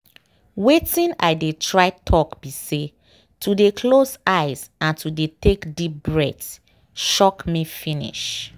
watin i dey try talk be say to dey close eyes and to dey take deep breath shock me finish.